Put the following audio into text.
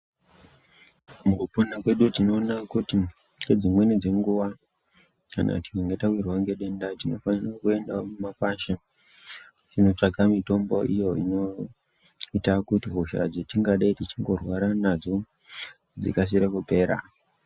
Mukupona tinoona kuti ngedzimweni dzenguwa kana tawirwa ngedenda tinofana kuenda mukakwasha kunotsvaka mitombo iyo inoita kuti hosha dzetingadei techirwara nadzo dzikadike kupera